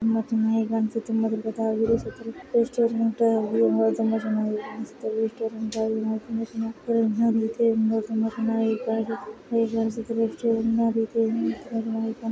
ತುಂಬ ಚೆನ್ನಾಗಿ ಕಾಣಿಸುತ್ತಿದೆ ತುಂಬಾ ದೊಡ್ಡದಾಗಿರುವ ರೆಸ್ಟೋರೆಂಟ್ ತುಂಬಾ ಚೆನ್ನಾಗಿ ಕಾಣಿಸುತ್ತಿದೆ ರೆಸ್ಟೋರೆಂಟ್ಸು ತುಂಬಾ ಚೆನ್ನಾಗಿ ಕೂಡ ಎಲ್ಲ ರೀತಿಯಿಂದ ತುಂಬಾ ತುಂಬಾ ಚೆನ್ನ್ನಾಗಿ ಕಾಣಿಸುತ್ತಿದೆ ಹೀಗೆ ರೆಸ್ಟೋರೆಂಟ್ನ ರೀತಿಯಂತೆ ಇದೆ .